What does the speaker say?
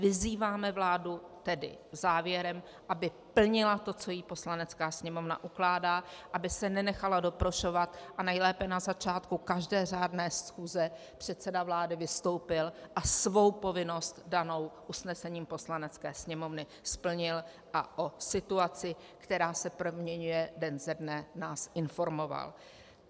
Vyzýváme vládu, tedy závěrem, aby plnila to, co jí Poslanecká sněmovna ukládá, aby se nenechala doprošovat a nejlépe na začátku každé řádné schůze předseda vlády vystoupil a svou povinnost danou usnesením Poslanecké sněmovny splnil a o situaci, která se proměňuje den ze dne, nás informoval.